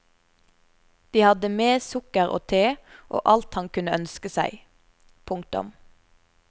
De hadde med sukker og te og alt han kunne ønske seg. punktum